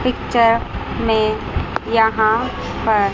picture में यहां पर --